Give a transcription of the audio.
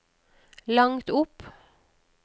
langt opp